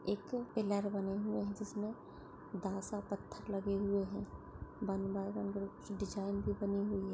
एक पिलर बने हुए है जिसमें दासा पत्थर लगे हुए है वन बाय वन कुछ डिज़ाइन भी बनी हुई--